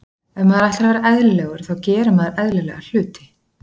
Ef maður ætlar að vera eðlilegur þá gerir maður eðlilega hluti.